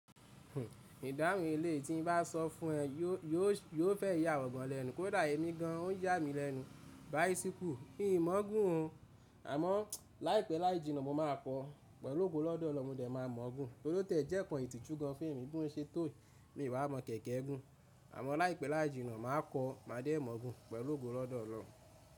Idahun elei tí n bá sọ fún ẹ yóò fẹ yà iwọ gan lẹnu kó dà èmi gan o n yà mí lẹnu bicycle. Mi n mọ̀ ọ́ gùn ọ, àmọ́ láìpẹ́ láì jìnnà mo máa kọ́ pẹ̀lú ògo lọ́dọ̀ Ọlọ́run mo de máa mọ̀ ọ́ gùn. Tori o tiẹ̀ jẹ́ nkan ìtìjú gan fun mi bí mo ṣe tó yi mi wá mọ̀ kẹ̀kẹ́ gùn. Àmọ́ láìpẹ́ láì jìnnà màá kọ́ máa dé mọ̀ ọ́ gùn pẹ̀lú ògo lọ́dọ̀ Ọlọ́run.